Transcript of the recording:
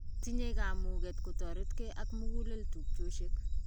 Tinyei kamuget kutoritkei ak mugulel tupchosiek.